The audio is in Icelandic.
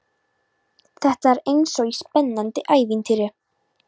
Þetta er eins og í spennandi ævintýri.